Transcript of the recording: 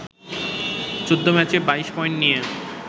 ১৪ ম্যাচে ২২ পয়েন্ট নিয়ে